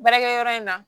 Baarakɛyɔrɔ in na